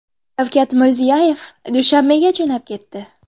Shavkat Mirziyoyev Dushanbega jo‘nab ketdi.